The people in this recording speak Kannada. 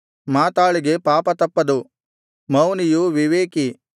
ಮಾತಾಳಿಗೆ ಪಾಪ ತಪ್ಪದು ಮೌನಿಯು ವಿವೇಕಿ